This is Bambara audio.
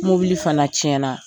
Mobili fana cɛnna.